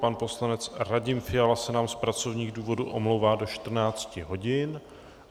Pan poslanec Radim Fiala se nám z pracovních důvodů omlouvá do 14 hodin.